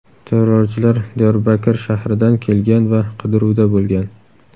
Terrorchilar Diyorbakir shahridan kelgan va qidiruvda bo‘lgan.